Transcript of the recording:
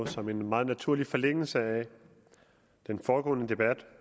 som en meget naturlig forlængelse af den foregående debat